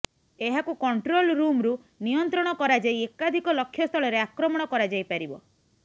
ଏହାକୁ କଣ୍ଟ୍ରୋଲ ରୁମ୍ରୁ ନିୟନ୍ତ୍ରଣ କରାଯାଇ ଏକାଧିକ ଲକ୍ଷ୍ୟସ୍ଥଳରେ ଆକ୍ରମଣ କରାଯାଇପାରିବ